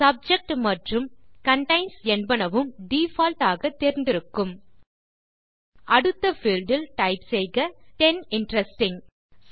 subject மற்றும் contains என்பனவும் default ஆக தேர்ந்திருக்கும் அடுத்த பீல்ட் இல் டைப் செய்க டென் இன்ட்ரெஸ்டிங்